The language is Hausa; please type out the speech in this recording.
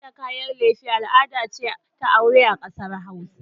Haɗa kayan lefe al'ada ce ta aure a ƙasar hausa